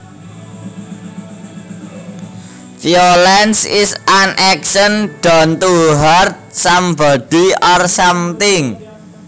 Violence is an action done to hurt somebody or something